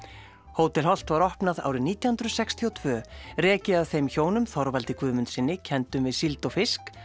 hótel Holt var opnað árið nítján hundruð sextíu og tvö rekið af þeim Þorvaldi Guðmundssyni kenndum við síld og fisk